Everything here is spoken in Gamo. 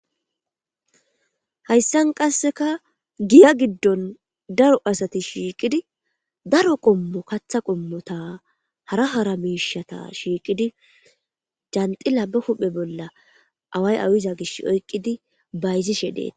Hayssan qasseka giya giddon daro asati shiiqidi daro qommo katha qommota hara hara miishata shiiqidi janxila ba huphe bolla away awiza gish oyqqidi bayzishe deeta.